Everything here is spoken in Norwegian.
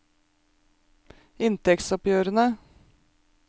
inntektsoppgjørene